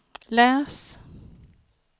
läs